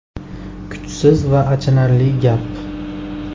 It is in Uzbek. Kuchsiz va achinarli gap.